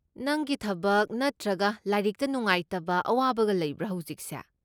ꯅꯪꯒꯤ ꯊꯕꯛ ꯅꯠꯇ꯭ꯔꯒ ꯂꯥꯏꯔꯤꯛꯇ ꯅꯨꯉꯥꯏꯇꯕ ꯑꯋꯥꯕꯒ ꯂꯩꯕ꯭ꯔꯥ ꯍꯧꯖꯤꯛꯁꯦ?